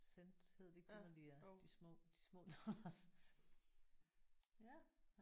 Cents hedder det ikke det når det er de små? De små dollars?